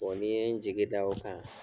ni n ye n jigi da o kan